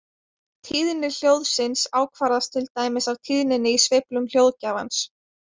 Tíðni hljóðsins ákvarðast til dæmis af tíðninni í sveiflum hljóðgjafans.